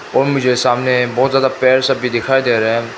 वो मुझे सामने बहोत ज्यादा पेड़ सब भी दिखाई दे रहे --